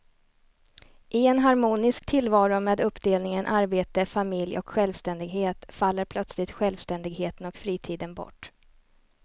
I en harmonisk tillvaro med uppdelningen arbete, familj och självständighet faller plötsligt självständigheten och fritiden bort.